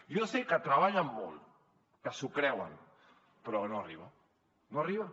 jo sé que treballen molt que s’ho creuen però no arriba no arriba